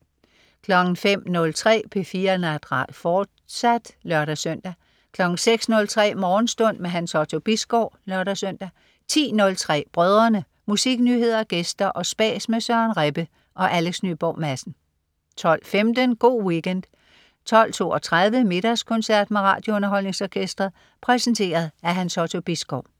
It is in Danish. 05.03 P4 Natradio, fortsat (lør-søn) 06.03 Morgenstund. Hans Otto Bisgaard (lør-søn) 10.03 Brødrene. Musiknyheder, gæster og spas med Søren Rebbe og Alex Nyborg Madsen 12.15 Go' Weekend 12.32 Middagskoncert med RadioUnderholdningsOrkestret. Præsenteret af Hans Otto Bisgaard